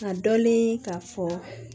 Ka dɔnni k'a fɔ